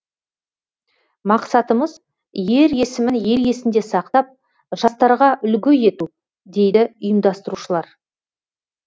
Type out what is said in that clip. мақсатымыз ер есімін ел есінде сақтап жастарға үлгі ету дейді ұйымдастырушылар